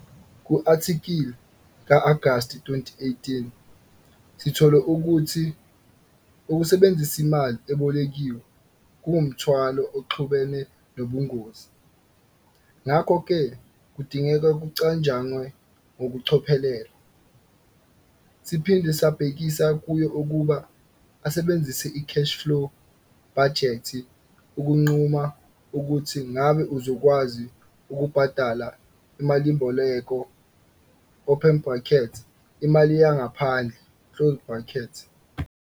Ku-athikhili ka-Agasti 2018 sithole ukuthi, ukusebenzisa imali ebolekiwe kungumthwalo oxubene nobungozi, ngakho ke kudinga kucatshangwe ngokucophelela. Siphinde sabhekisa kuyo ukuba asebenzise i-cash-flow bhajethi ukunquma ukuthi ngabe uzokwazi ukubhadala imalimboleko open brackets imali yangaphandle,